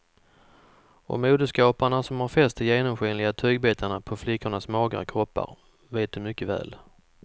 Och modeskaparna som har fäst de genomskinliga tygbitarna på flickornas magra kroppar vet det mycket väl.